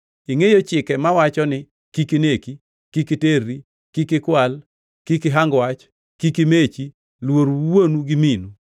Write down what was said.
Ingʼeyo chike mawacho ni: ‘Kik ineki, kik iterri, kik ikwal, kik ihang wach, kik imechi, luor wuonu gi minu.’ + 10:19 \+xt Wuo 20:12-16; Rap 5:16-20\+xt* ”